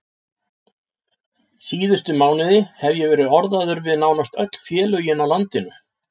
Síðustu mánuði hef ég verið orðaður við nánast öll félögin á landinu.